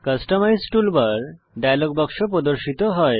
customise toolbar dialog বাক্স প্রদর্শিত হয়